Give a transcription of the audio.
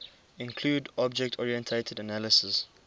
include object oriented analysis